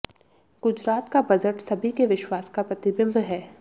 गुजरात का बजट सभी के विश्वास का प्रतिबिंब है